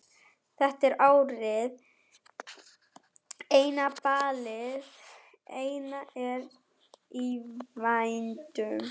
Þetta er árið eina, ballið eina er í vændum.